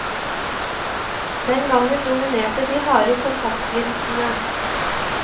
Den gangen dominerte de harde kontaktlinsene.